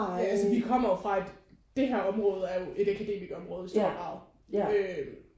Ja altså vi kommer jo fra et det her område er jo et akademikerområde i stor grad øh